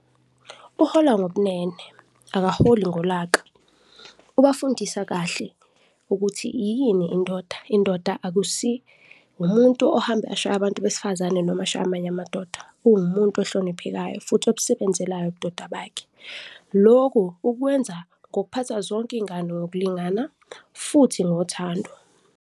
Uhola ngobunene akaholi ngolaka, ubafundisa kahle ukuthi yini indoda. Indoda akusi umuntu ohamba ashaya abantu besifazane noma ashaya amanye amadoda, uwumuntu ohloniphekayo futhi obusebenzelayo ubudoda bakhe. Loku ukwenza ngokuphatha zonke izingane ngokulingana futhi ngothando.